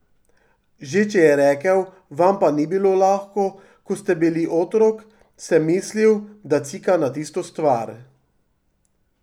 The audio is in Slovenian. Že če je rekel, vam pa ni bilo lahko, ko ste bili otrok, sem mislil, da cika na tisto stvar.